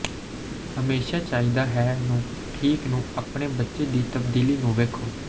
ਹਮੇਸ਼ਾ ਚਾਹੀਦਾ ਹੈ ਨੂੰ ਠੀਕ ਨੂੰ ਆਪਣੇ ਬੱਚੇ ਦੀ ਤਬਦੀਲੀ ਨੂੰ ਵੇਖੋ